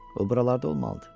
O buralarda olmalıdır.